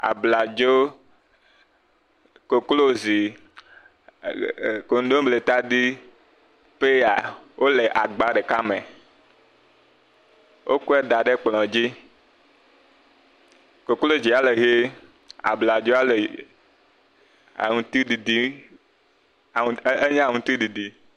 Abladzo, koklozi, ɛɛ koŋdomletadi, pɛya, wole agba ɖeka me. Wokɔe da ɖe kplɔ̃ dzi. Koklozia le ʋee. Abladzoa le aŋutiɖiɖi, enye aŋutiɖiɖi.